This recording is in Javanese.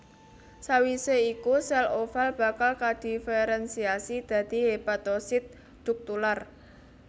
Sawisé iku sèl oval bakal kadiferensiasi dadi hepatosit duktular